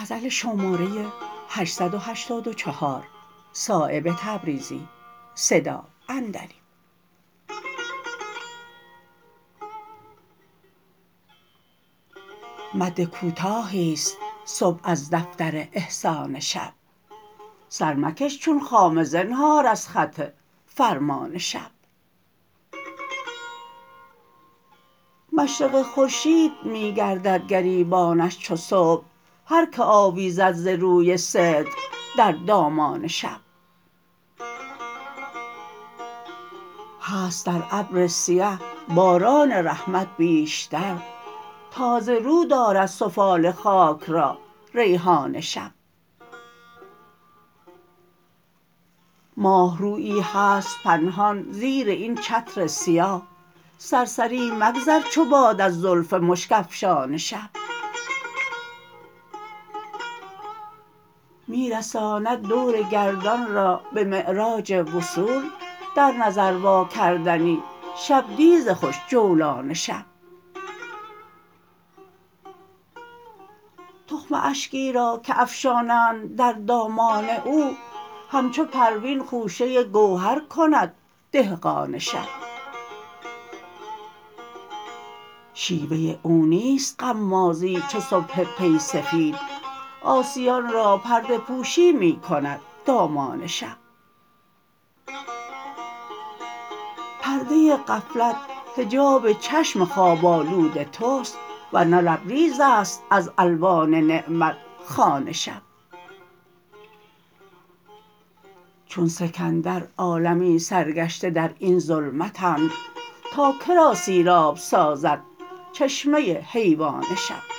مد کوتاهی است صبح از دفتر احسان شب سرمکش چون خامه زنهار از خط فرمان شب مشرق خورشید می گردد گریبانش چو صبح هر که آویزد ز روی صدق در دامان شب هست در ابر سیه باران رحمت بیشتر تازه رو دارد سفال خاک را ریحان شب ماهرویی هست پنهان زیر این چتر سیاه سرسری مگذر چو باد از زلف مشک افشان شب می رساند دور گردان را به معراج وصول در نظر واکردنی شبدیز خوش جولان شب تخم اشکی را که افشانند در دامان او همچو پروین خوشه گوهر کند دهقان شب شیوه او نیست غمازی چو صبح پی سفید عاصیان را پرده پوشی می کند دامان شب پرده غفلت حجاب چشم خواب آلود توست ورنه لبریزست از الوان نعمت خوان شب چون سکندر عالمی سرگشته در این ظلمتند تا که را سیراب سازد چشمه حیوان شب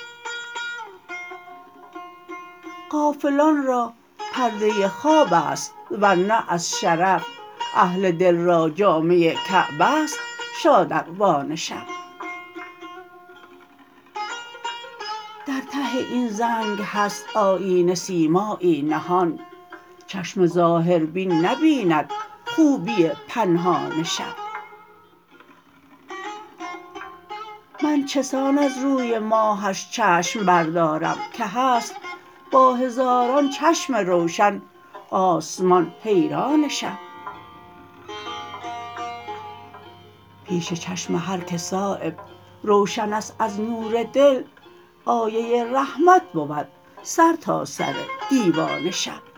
غافلان را پرده خواب است ورنه از شرف اهل دل را جامه کعبه است شادروان شب در ته این زنگ هست آیینه سیمایی نهان چشم ظاهربین نبیند خوبی پنهان شب من چسان از روی ماهش چشم بردارم که هست با هزاران چشم روشن آسمان حیران شب پیش چشم هر که صایب روشن است از نور دل آیه رحمت بود سر تا سر دیوان شب